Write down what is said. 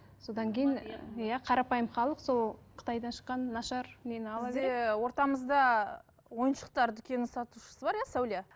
содан кейін иә қарапайым халық сол қытайдан шыққан нашар нені ала береді бізде ортамызда ойыншықтар дүкенінің сатушысы бар иә сәуле